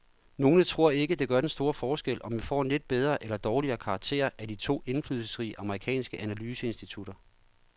Nogle tror ikke, det gør den store forskel, om vi får en lidt bedre eller dårligere karakter af de to indflydelsesrige amerikanske analyseinstitutter.